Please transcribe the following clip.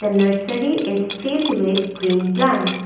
Nursery is filled with green plants.